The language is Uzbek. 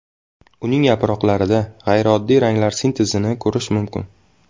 Uning yaproqlarida g‘ayrioddiy ranglar sintezini ko‘rish mumkin.